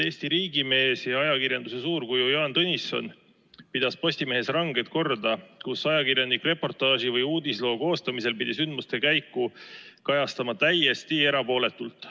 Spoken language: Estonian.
Eesti riigimees ja ajakirjanduse suurkuju Jaan Tõnisson pidas Postimehes ranget korda, nii et ajakirjanik pidi reportaaži või uudisloo koostamisel sündmuste käiku kajastama täiesti erapooletult.